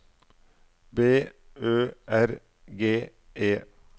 B Ø R G E